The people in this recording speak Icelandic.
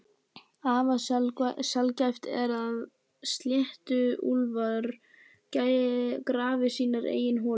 Afar sjaldgæft er að sléttuúlfar grafi sínar eigin holur.